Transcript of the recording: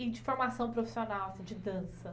E de formação profissional, de dança?